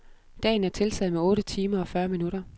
Dagen er tiltaget med otte timer og fyrre minutter.